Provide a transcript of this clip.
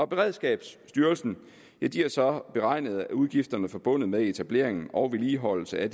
beredskabsstyrelsen har så beregnet at udgifterne forbundet med etablering og vedligeholdelse af